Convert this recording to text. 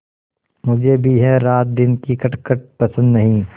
मुझे भी यह रातदिन की खटखट पसंद नहीं